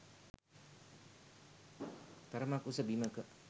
තරමක් උස බිමක.